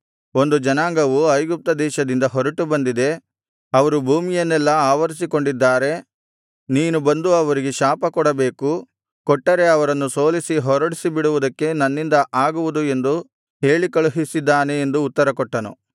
ಒಂದು ಜನಾಂಗವು ಐಗುಪ್ತ ದೇಶದಿಂದ ಹೊರಟು ಬಂದಿದೆ ಅವರು ಭೂಮಿಯನ್ನೆಲ್ಲಾ ಆವರಿಸಿಕೊಂಡಿದ್ದಾರೆ ನೀನು ಬಂದು ಅವರಿಗೆ ಶಾಪಕೊಡಬೇಕು ಕೊಟ್ಟರೆ ಅವರನ್ನು ಸೋಲಿಸಿ ಹೊರಡಿಸಿಬಿಡುವುದಕ್ಕೆ ನನ್ನಿಂದ ಆಗುವುದು ಎಂದು ಹೇಳಿಕಳುಹಿಸಿದ್ದಾನೆ ಎಂದು ಉತ್ತರಕೊಟ್ಟನು